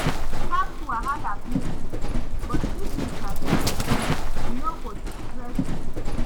Tax wahala plenty, but if you sabi pesin, e no go stress you.